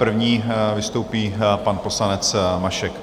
První vystoupí pan poslanec Mašek.